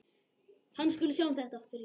Hann skuli sjá um þetta.